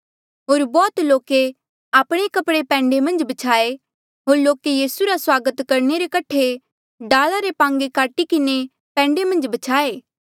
होर बौह्त लोके आपणे कपड़े पैंडे मन्झ ब्छ्याये होर लोके यीसू रा स्वागत करणे रे कठे डाला रे पांगे काटी किन्हें पैंडे मन्झ ब्छ्याये